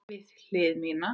Við hlið mína.